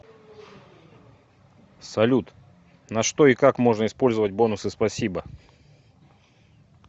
салют на что и как можно использовать бонусы спасибо